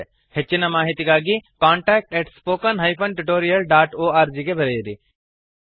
ಹೆಚ್ಚಿನ ಮಾಹಿತಿಗಾಗಿ contactspoken tutorialorg ಗೆ ಬರೆಯಿರಿ